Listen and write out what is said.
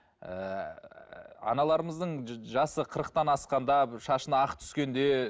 ііі аналарымыздың жасы қырықтан асқанда шашына ақ түскенде